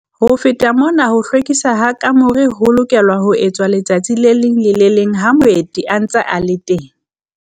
Ho feta mona ho hlwekiswa ha kamore ho lokelwa ho etswa letsatsi le leng le le leng ha moeti a ntse a le teng.